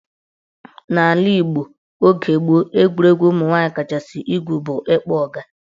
N'ala Igbo oge gboo, egwuregwu ụmụnwaanyị kachasị egwu bụ ịkpọ ọga.